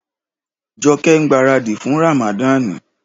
Jọkẹ́ ń gbaràdì fún Ràmàdani.